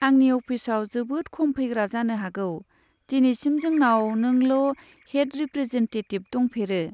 आंनि अफिसआव जोबोद खम फैग्रा जानो हागौ दिनैसिम जोंनाव नोंल' हेड रिप्रेजेन्टेटिब दंफेरो।